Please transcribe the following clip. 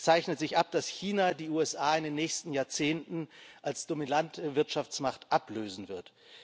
Es zeichnet sich ab, dass China die USA in den nächsten Jahrzehnten als dominante Wirtschaftsmacht ablösen wird.